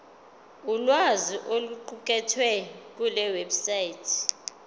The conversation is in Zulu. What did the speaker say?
ulwazi oluqukethwe kulewebsite